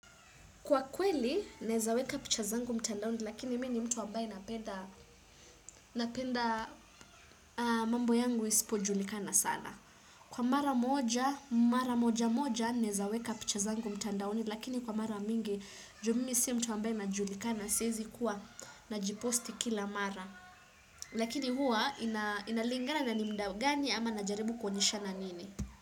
Kwa kweli, naweza weka picha zangu mtandaoni, lakini mimi ni mtu ambaye napenda napenda mambo yangu isipo julikana sana. Kwa mara moja, mara moja moja, naweza weka picha zangu mtandaoni, lakini kwa mara mingi, ju mimi sio mtu ambaye anajulikana, siwezi kuwa najiposti kila mara. Lakini huwa, inalingana ni muda gani ama najaribu kuonyeshana nini.